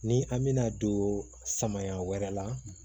Ni an bɛna don samaya wɛrɛ la